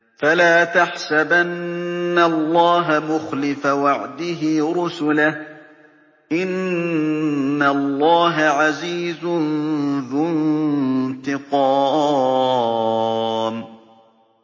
فَلَا تَحْسَبَنَّ اللَّهَ مُخْلِفَ وَعْدِهِ رُسُلَهُ ۗ إِنَّ اللَّهَ عَزِيزٌ ذُو انتِقَامٍ